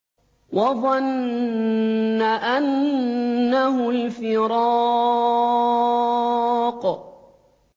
وَظَنَّ أَنَّهُ الْفِرَاقُ